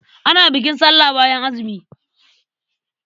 Ana bukin sallah bayan azumi.